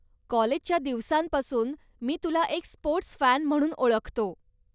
काॅलेजच्या दिवसांपासून मी तुला एक स्पोर्टस् फॅन म्हणून ओळखतो.